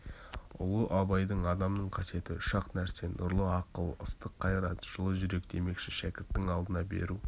ұлы абайдың адамның қасиеті үш-ақ нәрсе нұрлы ақыл ыстық қайрат жылы жүрек демекші шәкірттің алдына бару